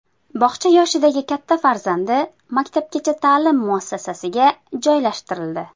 Bog‘cha yoshidagi katta farzandi maktabgacha ta’lim muassasasiga joylashtirildi.